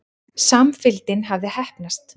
Samfylgdin hafði heppnast.